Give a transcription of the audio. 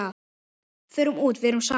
Förum út, verum saman.